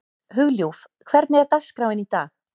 Hugljúf, hvernig er dagskráin í dag?